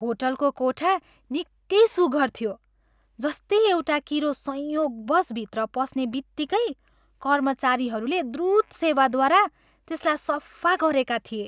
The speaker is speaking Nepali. होटलको कोठा निकै सुघ्घर थियो, जस्तै एउटा किरो संयोगवश भित्र पस्ने बित्तिकै कर्मचारीहरूले द्रुत सेवाद्वारा त्यसला सफा गरेका थिए।